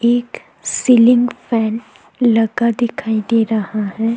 एक ceiling fan लगा दिखाई दे रहा है।